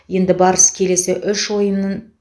енді барыс келесі үш ойынын